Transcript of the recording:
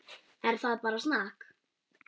Það er bara snakk.